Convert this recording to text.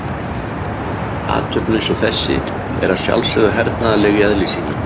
Athöfn eins og þessi er að sjálfsögðu hernaðarleg í eðli sínu.